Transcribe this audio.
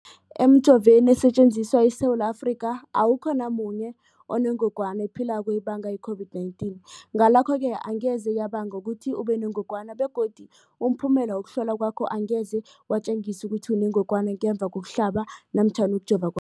Emijoveni esetjenziswa eSewula Afrika, awukho namunye onengog wana ephilako ebanga i-COVID-19. Ngalokho-ke angeze yabanga ukuthi ubenengogwana begodu umphumela wokuhlolwan kwakho angeze watjengisa ukuthi unengogwana ngemva kokuhlaba namkha kokujova